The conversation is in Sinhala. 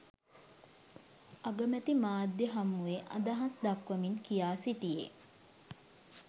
අගමැති මාධ්‍ය හමුවේ අදහස් දක්වමින් කියා සිටියේ